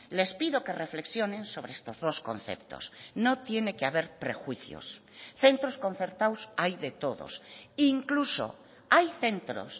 les pido que reflexionen sobre estos dos conceptos no tiene que haber prejuicios centros concertados hay de todos incluso hay centros